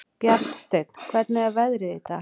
Bjarnsteinn, hvernig er veðrið í dag?